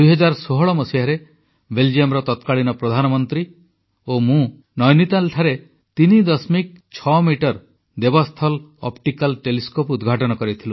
2016 ମସିହାରେ ବେଲଜିୟମର ତତ୍କାଳୀନ ପ୍ରଧାନମନ୍ତ୍ରୀ ଓ ମୁଁ ନୈନିତାଲଠାରେ 36 ମିଟର ଦେବସ୍ଥଲ ଅପ୍ଟିକାଲ ଟେଲିସ୍କୋପ ଉଦ୍ଘାଟନ କରିଥିଲୁ